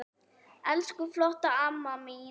Elsku flotta amma mín.